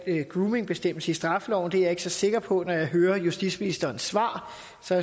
groomingbestemmelse i straffeloven er jeg ikke så sikker på når jeg hører justitsministerens svar